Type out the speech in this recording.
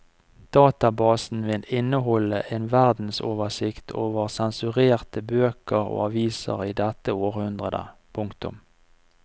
Databasen vil inneholde en verdensoversikt over sensurerte bøker og aviser i dette århundret. punktum